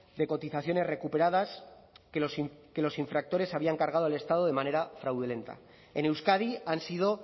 de cotizaciones recuperadas que los infractores habían cargado al estado de manera fraudulenta en euskadi han sido